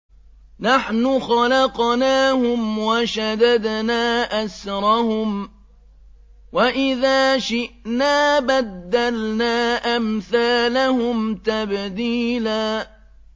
نَّحْنُ خَلَقْنَاهُمْ وَشَدَدْنَا أَسْرَهُمْ ۖ وَإِذَا شِئْنَا بَدَّلْنَا أَمْثَالَهُمْ تَبْدِيلًا